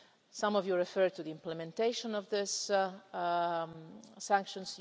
Some of you referred to the implementation of these sanctions.